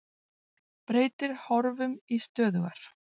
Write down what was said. Breytir horfum í stöðugar